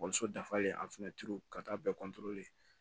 so dafalen ka taa bɛɛ